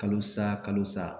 Kalo sa kalo sa